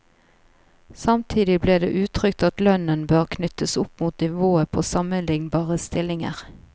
Samtidig ble det uttrykt at lønnen bør knyttes opp mot nivået på sammenlignbare stillinger.